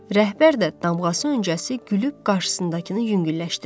Rəhbər də damğası öncəsi gülüb qarşısındakını yüngülləşdirdi.